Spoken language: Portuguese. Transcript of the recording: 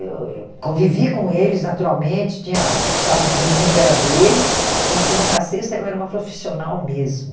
Eu eu convivi com eles, naturalmente, tinha sábados e domingos era deles, mas de segunda a sexta eu era uma profissional mesmo.